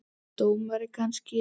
Dómari kannski?